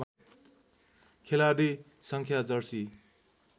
खेलाडी सङ्ख्या जर्सी